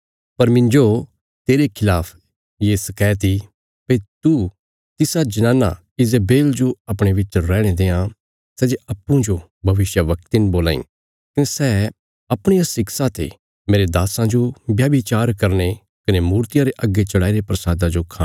पर मिन्जो तेरे खलाफ ये शकैत इ भई तू तिसा जनाना ईजेबेल जो अपणे बिच रैहणे देआं सै जे अप्पूँजो भविष्यवक्तिन बोलां इ कने सै अपणिया शिक्षा ते मेरे दास्सां जो व्यभिचार करने कने मूर्तियां रे अग्गे चढ़ाईरे प्रसादा जो खाणा सखाई ने भरमांई